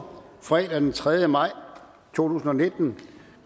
fredag den tredje maj i to og nitten